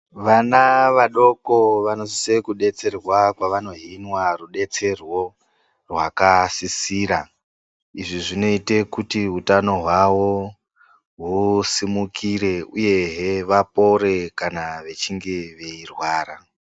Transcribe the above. Vana vadoko vanosise kubetserwa kwavanohinwa ruberwo rwakasisira. Izvi zvinoite kuti utano hwavo husimukire uyehe vapore kana vechinge veirwara.